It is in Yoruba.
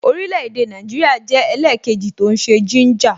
Orile-ede Naijiria jẹ́ ẹlẹkeji tó ń ṣe gínjà